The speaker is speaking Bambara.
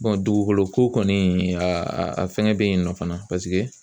dugukoloko kɔni a a fɛngɛ bɛ yen nɔ fana